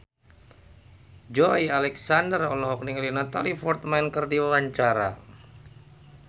Joey Alexander olohok ningali Natalie Portman keur diwawancara